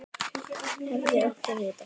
Hefði átt að vita það.